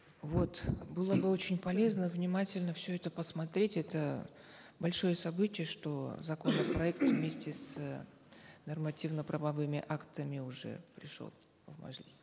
вот было бы очень полезно внимательно все это посмотреть это большое событие что законопроект вместе с нормативно правовыми актами уже пришел в мажилис